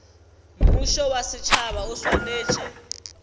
mmušo wa setšhaba o swanetše